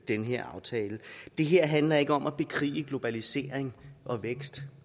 den her aftale det her handler ikke om at bekrige globalisering og vækst